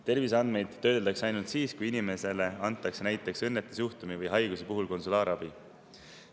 Terviseandmeid töödeldakse ainult siis, kui inimesele antakse näiteks õnnetusjuhtumi või haiguse puhul konsulaarabi.